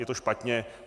Je to špatně.